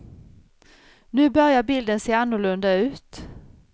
Nu börjar bilden se annorlunda ut.